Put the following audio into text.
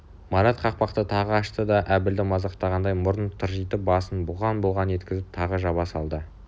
марат қақпақты тағы ашты да әбілді мазақтағандай мұрнын тыржитып басын бұлғаң-бұлғаң еткізіп тағы жаба салды